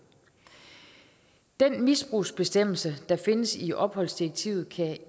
den misbrugsbestemmelse der findes i opholdsdirektivet kan